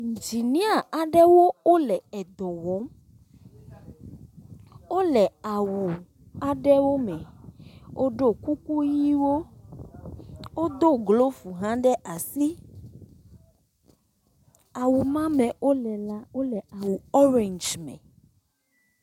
Idzinia aɖewo le dɔ wɔm. Wole awu aɖewo me. Woɖo kuku ʋiwo. Wodo glovu hã ɖe asi. Awu ma me wole la wole awu ɔrɛndzi me